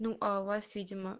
ну а у вас видимо